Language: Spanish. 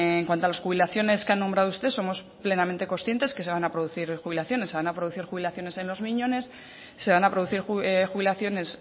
en cuanto a las jubilaciones que ha nombrado usted somos plenamente conscientes que se van a producir jubilaciones se van a producir jubilaciones en los miñones se van a producir jubilaciones